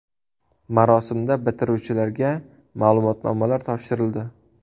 Marosimda bitiruvchilarga ma’lumotnomalar topshirildi.